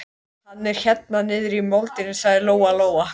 Hann er hérna niðri í moldinni, sagði Lóa-Lóa.